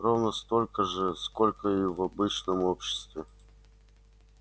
ровно столько же сколько и в обычном обществе